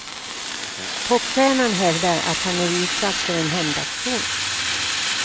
Popstjärnan hävdar att han är utsatt för en hämndaktion.